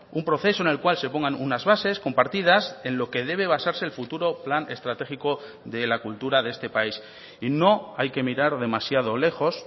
un proceso en el cual se pongan unas bases compartidas en lo que debe basarse el futuro plan estratégico de la cultura de este país y no hay que mirar demasiado lejos